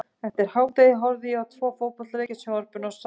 Eftir hádegi horfði ég á tvo fótboltaleiki í sjónvarpinu og sá síðan